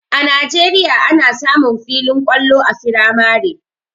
A najeriya ana samun filin kwallo a firamare